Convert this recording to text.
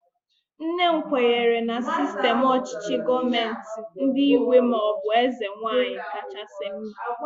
Nne m kwenyere na sistem ọchịchị gọọmenti nke ígwè maọbụ eze nwaanyị kachasị mma